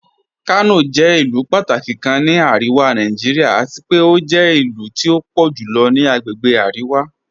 Kanọ jẹ̀ ilu pàtàkí kàn ní Aríwá Nàìjíríà àti pẹ̀ o jẹ̀ ilu tí o pọ̀ julọ ni àgbègbè Aríwá.